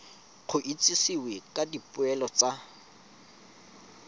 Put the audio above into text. go itsisiwe ka dipoelo tsa